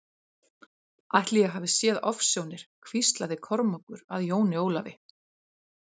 Ætli ég hafi séð ofsjónir hvíslaði Kormákur að Jóni Ólafi.